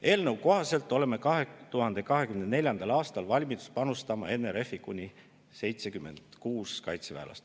Eelnõu kohaselt oleme 2024. aastal valmis panustama NRF-i kuni 76 kaitseväelasega.